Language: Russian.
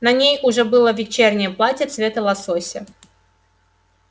на ней уже было вечернее платье цвета лосося